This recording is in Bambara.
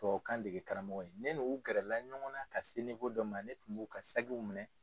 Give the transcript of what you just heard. Tubabukan dege karamɔgɔ ye, ne n'u gɛrɛla ɲɔgɔn na ka se dɔ ma ne tun b'u ka sakiw minɛ.